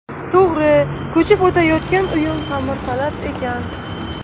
To‘g‘ri, ko‘chib o‘tayotgan uyim ta’mirtalab ekan.